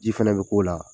Ji fɛnɛ be k'o la